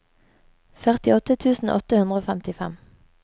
førtiåtte tusen åtte hundre og femtifem